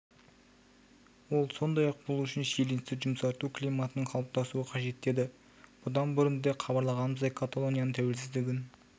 ол сондай-ақ бұл үшін шиеленісті жұмсарту климатының қалыптасуы қажет деді бұдан бұрын да хабарлағанымыздай каталонияның тәуелсіздігін